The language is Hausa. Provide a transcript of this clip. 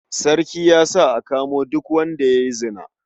Sarki ya sa a kamo duk wanda ya yi zina.